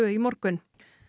í morgun